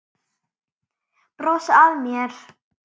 Brosa að mér!